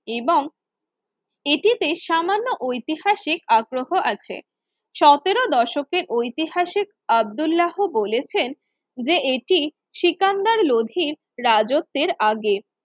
এবং এটিতে সামান্য ঐতিহাসিক আগ্রহ আছে সতেরো দশকের ঐতিহাসিক আব্দুল্লাহ বলেছেন যে এটি সিকান্দার লোধির রাজত্বের আগের